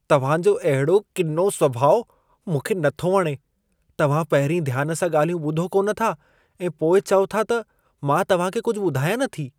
तव्हां जो अहिड़ो किनो सुभाउ मूंखे नथो वणे। तव्हां पहिरीं ध्यान सां ॻाल्हियूं ॿुधो कोन था ऐं पोइ चओ था त मां तव्हां खे कुझु ॿुधायां नथी। (दोस्त 2)